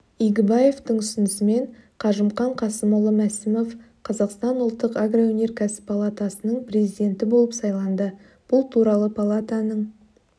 игібаевтың ұсынысымен қажымқан қасымұлы мәсімов қазақстан ұлттық агроөнеркәсіп палатасының президенті болып сайланды бұл туралы палатаның